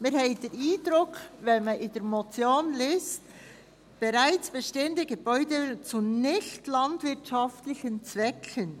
Wir haben den Eindruck, wenn man in der Motion liest, «bereits bestehende Gebäudevolumen zu nichtlandwirtschaftlichen Zwecken» …